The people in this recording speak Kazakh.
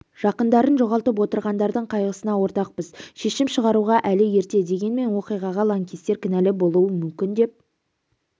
жақындарын жоғалтып отырғандардың қайғысына ортақпыз шешім шығаруға әлі ерте дегенмен оқиғаға лаңкестер кінәлі болуы мүмкін деп